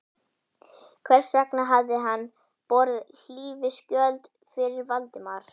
Hvers vegna hafði hann borið hlífiskjöld fyrir Valdimar?